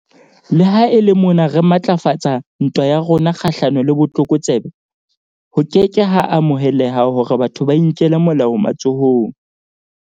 Le ha e le mona re matlafatsa ntwa ya rona kgahlano le botlokotsebe, ho ke ke ha amoheleha hore batho ba inkele molao matsohong.